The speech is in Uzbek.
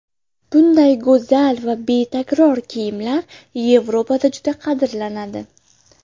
Bunday go‘zal va betakror kiyimlar Yevropada juda qadrlanadi.